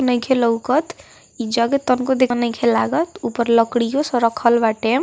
नइखे लउकत यह जगह तमको देखनो नइखे लागत ऊपर लड़की ओ सा रखल बाटे।